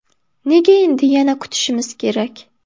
Nega endi yana kutishimiz kerak?